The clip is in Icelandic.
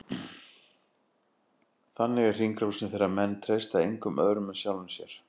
Þannig er hringrásin, þegar menn treysta engum öðrum en sjálfum sér.